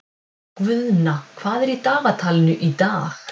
Guðna, hvað er í dagatalinu í dag?